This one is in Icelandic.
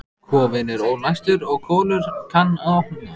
Kofinn er ólæstur og Kolur kann að opna.